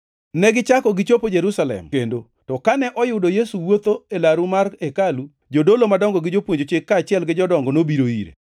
Negichako gichopo Jerusalem kendo, to kane oyudo Yesu wuotho e laru mar hekalu, jodolo madongo gi jopuonj Chik, kaachiel gi jodongo nobiro ire.